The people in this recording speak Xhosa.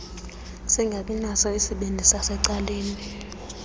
singabinaso isipili sasecaleni